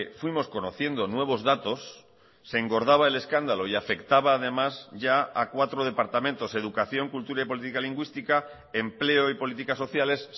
fuimos conociendo nuevos datos se engordaba el escándalo y afectaba además ya a cuatro departamentos educación cultura y política lingüística empleo y políticas sociales